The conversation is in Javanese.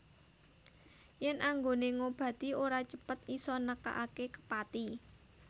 Yen anggone ngobati ora cepet isa nekake kepati